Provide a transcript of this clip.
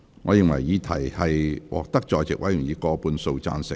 我認為議題獲得在席委員以過半數贊成。